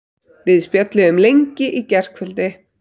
Við spjölluðum lengi í gærkvöldi.